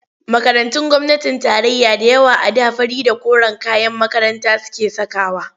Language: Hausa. Makarantun gwamnatin tarayya da yawa a da fari da koren kayan makaranta suke sakawa.